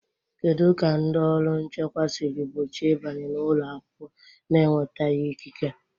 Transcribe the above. Kedu ka ndị ọrụ nchekwa siri gbochie ịbanye n'ụlọ akwụkwọ n'enwetaghị ikike?